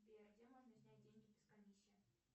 сбер где можно снять деньги без комиссии